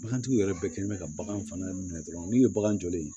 Bagantigi yɛrɛ bɛɛ kɛlen bɛ ka bagan fana minɛ dɔrɔn n'u ye bagan jɔlen ye